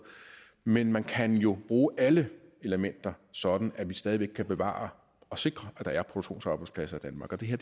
men man kan jo bruge alle elementer sådan at vi stadig væk kan bevare og sikre at der er produktionsarbejdspladser i danmark og det her